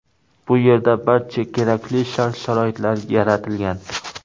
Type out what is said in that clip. Bu yerda barcha kerakli shart-sharoitlar yaratilgan.